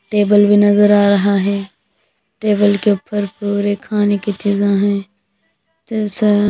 table भी नजर आ रहा है टेबल के ऊपर पूरे खाने की चीजें हैं जैसा--